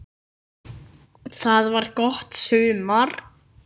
Það var gott sumar.